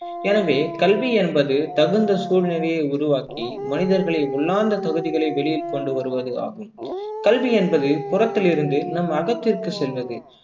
எனவே கல்வி என்பது தகுந்த சூழ்நிலையை உருவாக்கி மனிதர்களின் உள்ளார்ந்த தகுதிகளை வெளியில் கொண்டு வருவது ஆகும் கல்வி என்பது புறத்திலிருந்து நம் அகத்திற்கு செல்வது